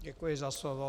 Děkuji za slovo.